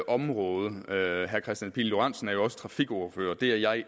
område herre kristian pihl lorentzen er jo også er trafikordfører det er jeg